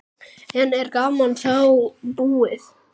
En er gamanið þá búið?